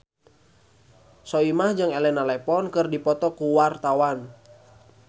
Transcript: Soimah jeung Elena Levon keur dipoto ku wartawan